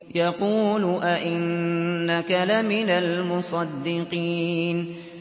يَقُولُ أَإِنَّكَ لَمِنَ الْمُصَدِّقِينَ